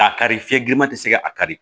K'a kari fiɲɛ girinman tɛ se ka a kari